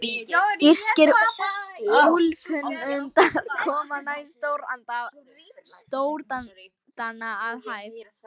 Írskir úlfhundar koma næst stórdana að hæð.